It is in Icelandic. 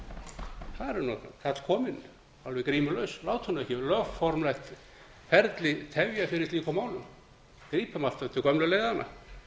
er karl kominn alveg grímulaus láta ekki lögformlegt ferli tefja fyrir slíkum málum grípum aftur til gömlu leiðanna